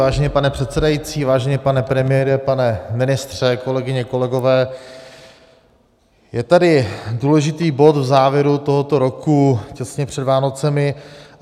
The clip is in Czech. Vážený pane předsedající, vážený pane premiére, pane ministře, kolegyně, kolegové, je tady důležitý bod v závěru tohoto roku těsně před Vánocemi.